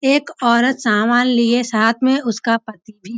एक औरत सामान लिए साथ में उसका पति भी --